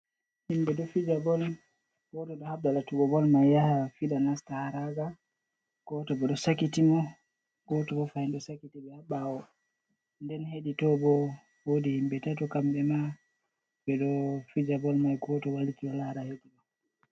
Himbe do fija bol, goto ɗo habda latugo bol mai yaha fida nasta ha raga. Goto ɗo sakiti mo, goto ɓo fahin do sakiti mo ha ɓawo. Nden hedi to bo wodi himbe tatu kamɓe ma ɓeɗo fija bol mai goto wai'liti ɗo lara heddo.